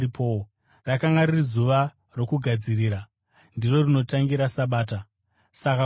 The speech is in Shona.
Rakanga riri Zuva roKugadzirira (ndiro rinotangira Sabata.) Saka kwovira,